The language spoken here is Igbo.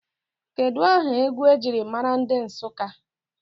Kedụ aha egwu ejiri maara ndị Nsụka?